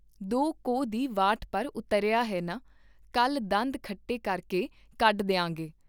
ਦੋ ਕੋਹ ਦੀ ਵਾਟ ਪਰ ਉਤਰਿਆ ਹੈ ਨਾ, ਕੱਲ ਦੰਦ ਖੱਟੇ ਕਰਕੇ ਕੱਢ ਦੀਆਂਗੇ।